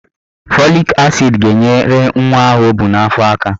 Fọlik asid ga-enyere nwa ahụ o bu n'afọ aka.